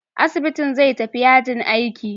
Asibitin zai tafi yajin aiki.